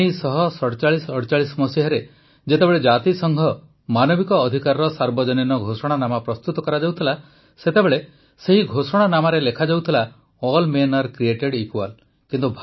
୧୯୪୭୪୮ରେ ଯେତେବେଳେ ଜାତିସଂଘ ମାନବିକ ଅଧିକାରର ସାର୍ବଜନୀନ ଘୋଷଣାନାମା ପ୍ରସ୍ତୁତ କରାଯାଉଥିଲା ସେତେବେଳେ ସେହି ଘୋଷଣାନାମାରେ ଲେଖାଯାଉଥିଲା all men are created equal